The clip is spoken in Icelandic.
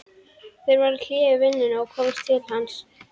Þeir gera hlé á vinnunni og koma til hans.